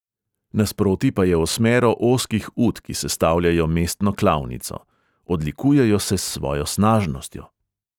Nasproti pa je osmero ozkih ut, ki sestavljajo mestno klavnico; odlikujejo se s svojo snažnostjo.